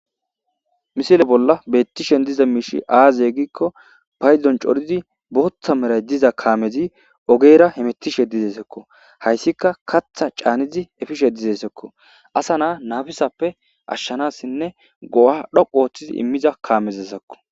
misile bolla beettishen diza miishi aaze gikko payzon corizi bootha meray diza kaamezi ogeera hemettishe dizeesekko hayssika katha caanizi efishe dizeesekko asa naa nabisappe ashshanassinne go7a dhoqu ooththizi immiza kaamezesakko